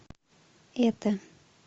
это